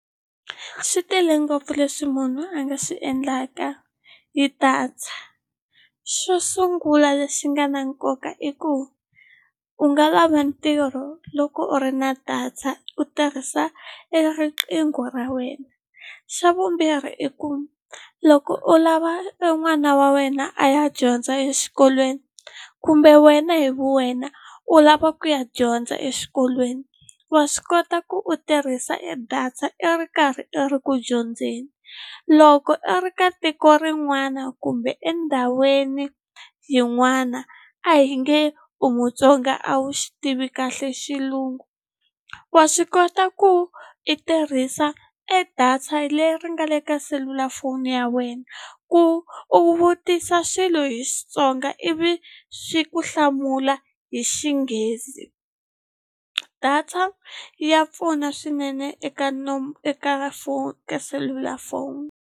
Swi tele ngopfu leswi munhu a nga swi endlaka hi data xo sungula lexi nga na nkoka i ku u nga lava ntirho loko u ri na data u tirhisa e riqingho ra wena xa vumbirhi i ku loko u lava n'wana wa wena a ya dyondza exikolweni kumbe wena hi vu wena u lava ku ya dyondza exikolweni wa swi kota ku u tirhisa e data i ri karhi i ri ku dyondzeni loko i ri ka tiko rin'wana kumbe endhawini yin'wana a hi nge u Mutsonga a wu xi tivi kahle xilungu wa swi kota ku i tirhisa e data leri nga le ka selulafoni ya wena ku u vutisa swilo hi Xitsonga ivi swi ku hlamula hi Xinghezi data ya pfuna swinene eka eka ka selulafoni.